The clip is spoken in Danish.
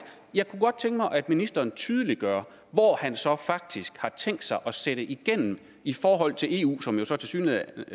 jeg kunne godt tænke mig at ministeren tydeliggør hvor han faktisk har tænkt sig at sætte igennem i forhold til eu som så tilsyneladende